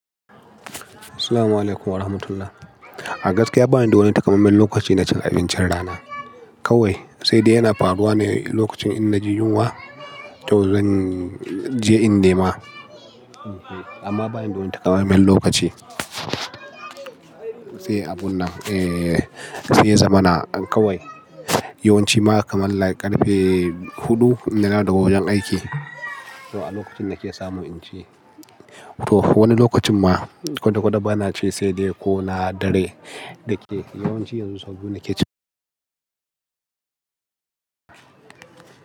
Assalamualaikum warahmatullah. Agaskiya bani don taƙamaiman lokaci na cin abincin rana kawai, sai dai yana faruwa ne lokacin ina ji yunwa ko zan je in nema. Amma bani da wani takamaiman lokaci. Sai abun nan, eh, sai zamana kawai. Yawan ci ma kamar karfe huɗu idan na dawo daga wajen aiki, to a lokacin na ke samu in ci. To wani lokacin ma ko da ba na ci sai dai ko na dare da ke. Yawan ci yanzu saboda na ke ci.